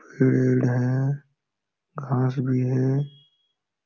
पेड़ है घास भी है।